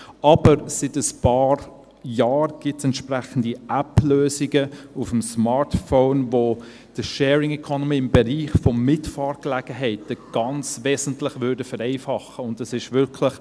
Aber seit ein paar Jahren gibt es entsprechende App-Lösungen auf dem Smartphone, die die Sharing Economy im Bereich von Mitfahrgelegenheiten ganz wesentlich vereinfachen würden.